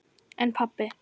En pabbi.